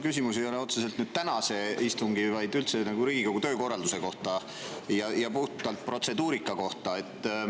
Küsimus ei ole otseselt tänase istungi, vaid üldse Riigikogu töökorralduse ja puhtalt protseduurika kohta.